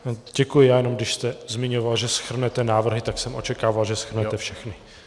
Děkuji, já jenom když jste zmiňoval, že shrnete návrhy, tak jsem očekával, že shrnete všechny.